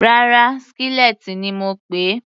Rárá, skillet ni mo pèé.